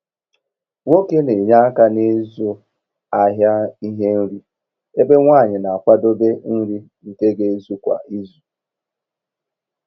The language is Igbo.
Nwoke n'enye aka n'ịzụ ahịa ihe nri, ebe Nwanyi na-akwadebe nri nke ga ezu kwa izu.